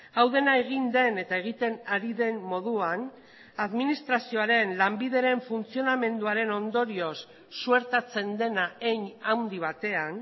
hau dena egin den eta egiten ari den moduan administrazioaren lanbideren funtzionamenduaren ondorioz suertatzen dena hein handi batean